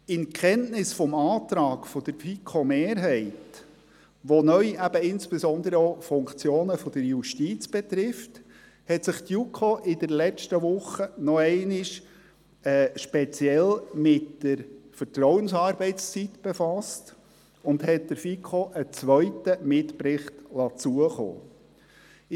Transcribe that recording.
In Kenntnis des Antrags der FiKo-Mehrheit, welcher neu insbesondere auch Funktionen der Justiz betrifft, hat sich die JuKo in der letzten Woche noch einmal speziell mit der Vertrauensarbeitszeit befasst und hat der FiKo einen zweiten Mitbericht zukommen lassen.